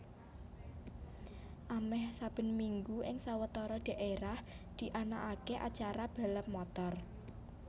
Amèh saben minggu ing sawetara dhaérah dianakaké acara balap motor